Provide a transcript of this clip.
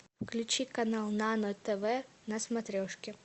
включи канал нано тв на смотрешке